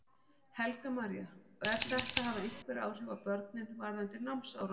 Helga María: Og er þetta að hafa einhver áhrif á börnin varðandi námsárangur?